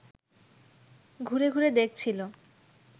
ঘুরে ঘুরে দেখছিল